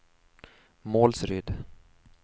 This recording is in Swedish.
Målsryd